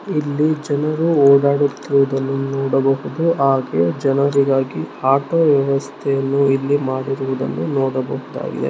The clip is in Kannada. ಇಲ್ಲಿ ಜನರು ಹೊಡಾಡುತ್ತಿರುವುದನ್ನು ನೋಡಬಹುದು ಹಾಗೆ ಜನಿರಿಗಾಗಿ ಆಟೋ ವ್ಯವಸ್ಥೆಯನ್ನು ಇಲ್ಲಿ ಮಾಡಿರುವುದನ್ನು ನೋಡಬಹುದಾಗಿದೆ.